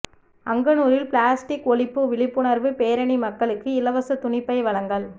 அங்கனூரில் plastic ஒழிப்பு விழிப்புணர்வு பேரணி மக்களுக்கு இலவச துணிபை வழங்கல்